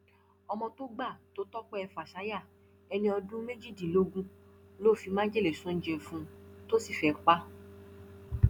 ọmọ tó gbà tó tọpẹ fàṣàyà ẹni ọdún méjìdínlógún ló fi májèlé sóúnjẹ fún un tó sì fẹẹ pa á